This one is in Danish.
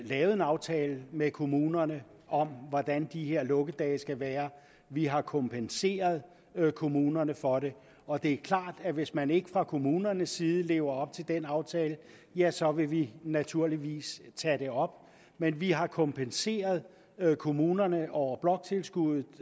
lavet en aftale med kommunerne om hvordan de her lukkedage skal være vi har kompenseret kommunerne for det og det er klart at hvis man ikke fra kommunernes side lever op til den aftale ja så vil vi naturligvis tage det op men vi har kompenseret kommunerne over bloktilskuddet